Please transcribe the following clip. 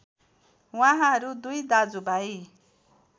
उहाँहरू दुई दाजुभाइ